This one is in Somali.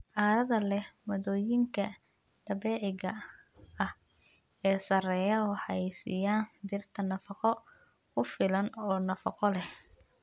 Carrada leh maaddooyinka dabiiciga ah ee sarreeya waxay siiyaan dhirta nafaqo ku filan oo nafaqo leh.